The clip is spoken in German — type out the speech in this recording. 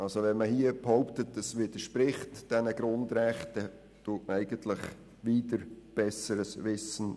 Wenn man hier nun behauptet, dieses Gesetz widerspreche den Grundrechten, tut man dies wider besseres Wissen.